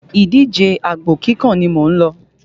Ìdíjẹ àgbò kíkàn ni mò ń lọ́.